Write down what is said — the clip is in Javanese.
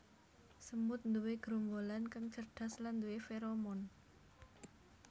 Semut nduwe gerombolan kang cerdas lan nduwé feromon